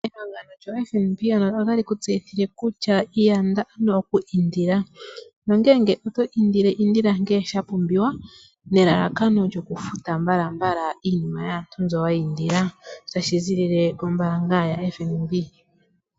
Ehangano lyoFNB ano otali ku tseyithile kutya yanda ano okwiindila. Nongele oto indile, indila ngele sha pumbiwa, nelalakano lyokufuta mbalambala iinima yaantu mbyo wa indila, tashi ziilile kombaanga yaFNB.